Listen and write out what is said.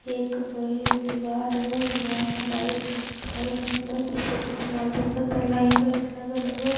एक बड़ी दीवार हुव दीवार में लाइट घर बनल है | पीछे दीवाल दिखत है लाइट वाइट लगा हुव ।